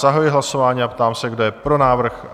Zahajuji hlasování a ptám se, kdo je pro návrh?